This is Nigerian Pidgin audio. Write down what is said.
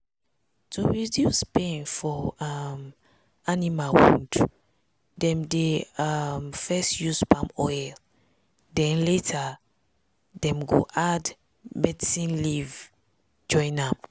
to reduce pain for um animal wound dem dey um first use palm oil then later um dem go add medicine leaf join am.